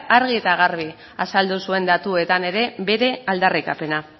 argi eta garbi azaldu zuen datuetan ere bere aldarrikapena